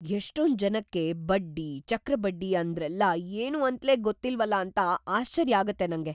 ಎಷ್ಟೊಂದ್‌ ಜನಕ್ಕೆ ಬಡ್ಡಿ, ಚಕ್ರ ಬಡ್ಡಿ ಅಂದ್ರೆಲ್ಲ ಏನೂ ಅಂತ್ಲೇ ಗೊತ್ತಿಲ್ವಲ ಅಂತ ಆಶ್ಚರ್ಯ ಆಗತ್ತೆ ನಂಗೆ.